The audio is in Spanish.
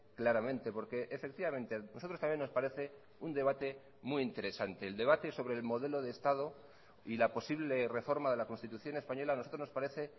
claramente porque efectivamente nosotros también nos parece un debate muy interesante el debate sobre el modelo de estado y la posible reforma de la constitución española a nosotros nos parece